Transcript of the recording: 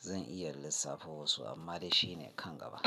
zan iya lissafo wasu amma dai shi ne kangaba.